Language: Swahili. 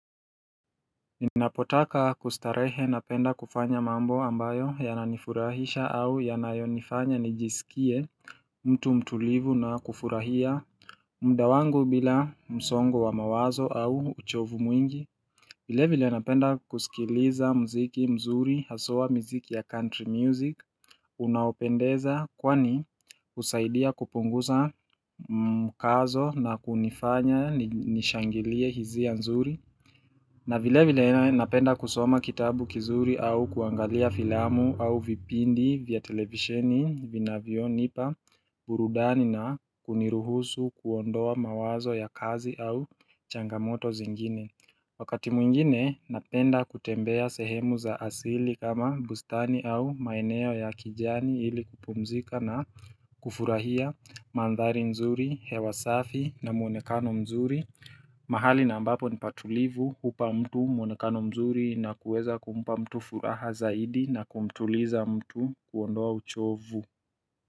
Ninapotaka kustarehe napenda kufanya mambo ambayo yananifurahisha au yanayonifanya nijisikie mtu mtulivu na kufurahia mda wangu bila msongo wa mawazo au uchovu mwingi. Vile vile napenda kusikiliza mziki mzuri, haswa mziki ya country music, unaopendeza kwani usaidia kupunguza mkazo na kunifanya nishangilie hizia nzuri. Na vile vile napenda kusoma kitabu kizuri au kuangalia filamu au vipindi vya televisheni, vina vio nipa, burudani na kuniruhusu kuondoa mawazo ya kazi au changamoto zingine. Wakati mwingine napenda kutembea sehemu za asili kama bustani au maeneo ya kijani ili kupumzika na kufurahia mandhari nzuri, hewasafi na muonekano mzuri mahali na ambapo ni patulivu hupa mtu muonekano mzuri na kuweza kumpa mtu furaha zaidi na kumtuliza mtu kuondoa uchovu.